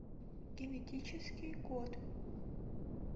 генетический код